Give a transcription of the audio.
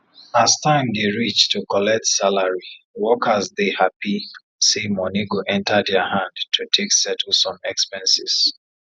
as time dey reach to collect salary workers dey happy say money go enter dia hand to take settle some expenses